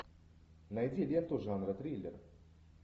найди ленту жанра триллер